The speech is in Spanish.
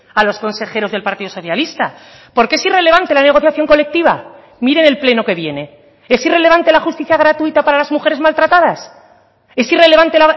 a los consejeros del partido socialista por qué es irrelevante la negociación colectiva mire en el pleno que viene es irrelevante la justicia gratuita para las mujeres maltratadas es irrelevante